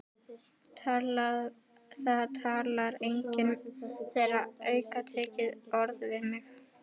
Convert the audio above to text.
Það talar enginn þeirra aukatekið orð við mig.